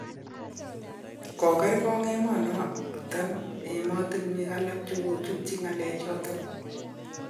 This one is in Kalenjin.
Kokergon emon nondet emotinwek alak chekochutyi ngalek choton